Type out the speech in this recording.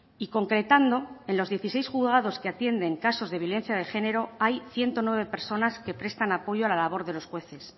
y concretando en los dieciséis juzgados que atienden casos de violencia de género hay ciento nueve personas que prestan apoyo a la labor de los jueces